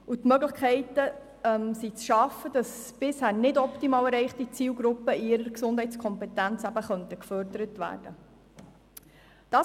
Es sind Möglichkeiten zu schaffen, damit bisher nicht optimal erreichte Zielgruppen in ihrer Gesundheitskompetenz gefördert werden können.